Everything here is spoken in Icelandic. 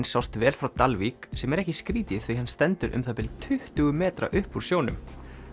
sást vel frá Dalvík sem er ekki skrítið því hann stendur um það bil tuttugu metra upp úr sjónum